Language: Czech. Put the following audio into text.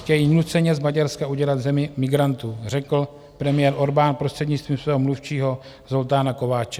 Chtějí nuceně z Maďarska udělat zemi migrantů, řekl premiér Orbán prostřednictvím svého mluvčího Zoltána Kovácse.